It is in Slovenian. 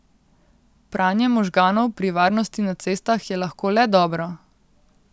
Pranje možganov pri varnosti na cestah je lahko le dobro.